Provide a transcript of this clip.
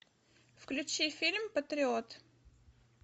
включи фильм патриот